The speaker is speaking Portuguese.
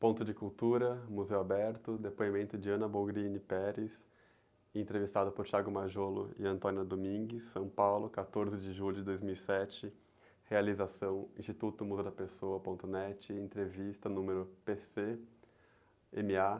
Ponto de Cultura, Museu Aberto, depoimento de, entrevistada por e, São Paulo, quatorze de julho de dois mil e sete, realização Instituto Muda da Pessoa ponto néti, entrevista número pê-cê-eme-á